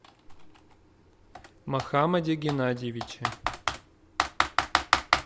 мохаммаде геннадьевиче